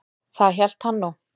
Það hélt hann nú.